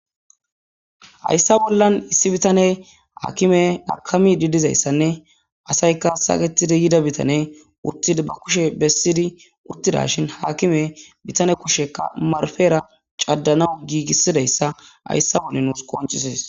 hayssa bollan issi bitane akiime akamiidi dizayssanne asayka saketidi yida bitane uttid ba kushe bessidi uttidashin haakime bitane kushekka marfera cadanaw giigisidayssa hayssa wonne nuus qoncisis